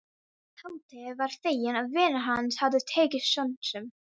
Rimlarnir eru inni í höfðinu, kalt járnið er svartur skuggi.